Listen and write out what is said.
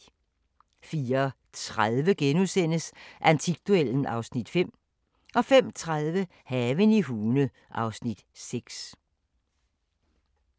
04:30: Antikduellen (Afs. 5)* 05:30: Haven i Hune (Afs. 6)